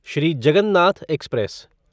Shri Jagannath express